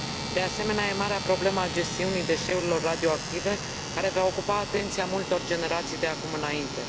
De asemenea, e marea problemă a gestiunii deșeurilor radioactive, care va ocupa atenția multor generații de acum înainte.